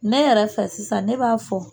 Ne yɛrɛ fɛ sisan ne b'a fɔ